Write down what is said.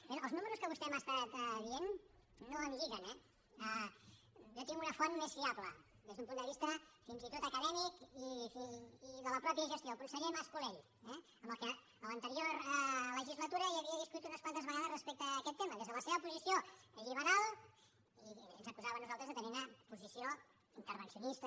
bé els números que vostè m’ha dit no em lliguen eh jo tinc una font més fiable des d’un punt de vista fins i tot acadèmic i de la mateixa gestió el conseller mas colell amb qui a l’anterior legislatura havia discutit unes quantes vegades sobre aquest tema des de la seva posició lliberal i ens acusava a nosaltres de tenir ne una posició intervencionista